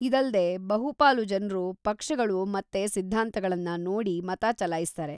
ಇದಲ್ದೇ ಬಹುಪಾಲು ಜನ್ರು ಪಕ್ಷಗಳು ಮತ್ತೆ ಸಿದ್ಧಾಂತಗಳ್ನ ನೋಡಿ ಮತ ಚಲಾಯಿಸ್ತಾರೆ.